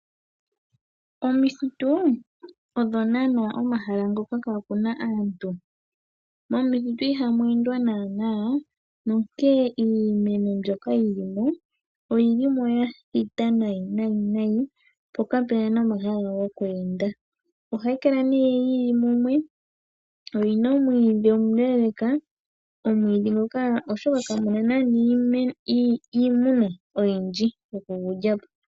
Omithitu odho naanaa omahala ngoka kaakuna aantu. Momithitu ihamu endwa naanaa nonkene iimeno mbyoka yili mo, oyili mo ya thita nayi nayi nayi, po kapuna nomahala goku enda. Ohayi kala nee yili mumwe yo oyina omwiidhi omuleeleeka, omwiidhi nguka oshoka kamuna naanaa iimuna oyindji yokugu lya po.